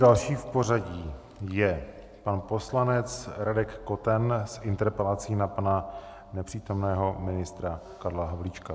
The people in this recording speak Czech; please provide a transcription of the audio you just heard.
Další v pořadí je pan poslanec Radek Koten s interpelací na pana nepřítomného ministra Karla Havlíčka.